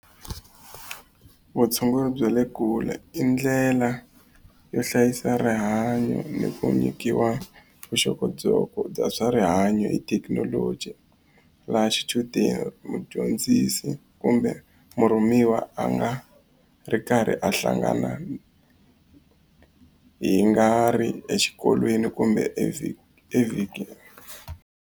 Vutshunguri bya le kule i ndlela yo hlayisa rihanyo ni ku nyikiwa vuxokoxoko bya swakudya swa rihanyo hi thekinoloji laha xichudeni mudyondzisi kumbe murhumiwa a nga ri karhi a hlangana hi nga ri exikolweni kumbe evhikini.